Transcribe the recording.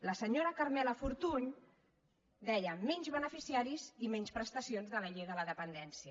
la senyora carmela fortuny deia menys beneficiaris i menys prestacions de la llei de la dependència